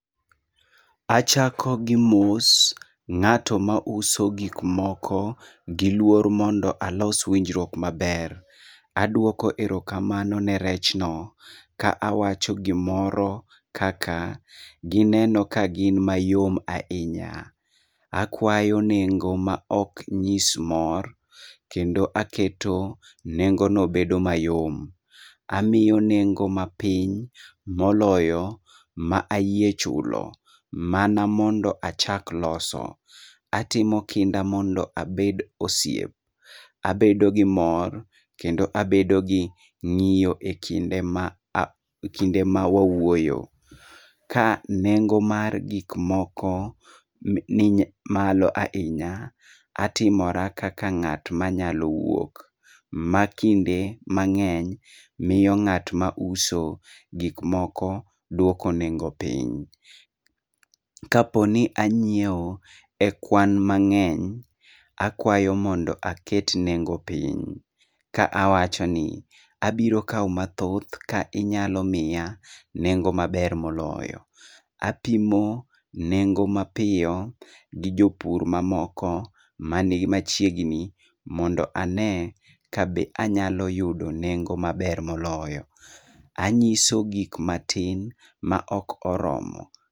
Achako gi mos ng'ato mauso gikmoko gi luor mondo alos winjruok maber. Aduoko erokamano ne rechno ka awacho gimoro kaka gineno ke gin mayom ainya. Akwayo nengo ma oknyis mor kendo aketo nengono bedo mayom. Amio nengo mapiny moloyo ma ayie chulo mana mondo achak loso. Atimo kinda mondo abed osiep. Abedo gi mor, kendo abed gi ng'iyo e kinde ma a kinde mawawuoyo. Ka nengo mar gik moko ny ni malo ainya, atimora kaka ng'at manyal wuok, ma kinde mang'eny mio ng'at mauso gik moko duoko nengo piny. Kaponi anyieo e kwan mang'eny akwayo mondo aket nengo piny ka awachoni "abiro kao mathoth ka inyalo mia nengo maber moloyo." Apimo nengo mapio gi jopur mamoko mani machiegnii mondo ane kabe anyalo yudo nengo maber moloyo. Anyiso gik matin maok oromo.